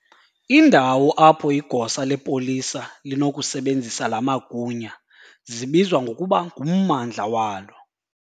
indawo apho igosa lepolisa linokusebenzisa laa magunya zibizwa ngokuba ngummandla walo.